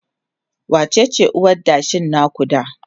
wacece uwar adashin na ku da?